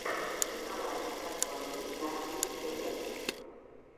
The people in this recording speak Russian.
николай сосонкин на ютьюбе